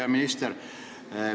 Hea minister!